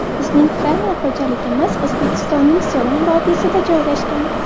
Bizning fermer xo‘jaligimiz O‘zbekistoning so‘lim vodiysida joylashgan.